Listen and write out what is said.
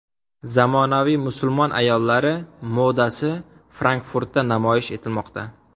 Zamonaviy musulmon ayollari modasi Frankfurtda namoyish etilmoqda.